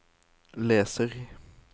leser